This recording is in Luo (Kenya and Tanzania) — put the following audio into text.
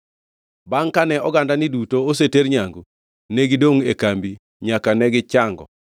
Bangʼ kane ogandani duto oseter nyangu, ne gidongʼ e kambi nyaka ne gichango.